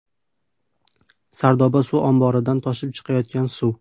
Sardoba suv omboridan toshib chiqayotgan suv.